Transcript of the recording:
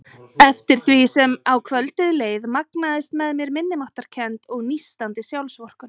Eftir því sem á kvöldið leið magnaðist með mér minnimáttarkennd og nístandi sjálfsvorkunn.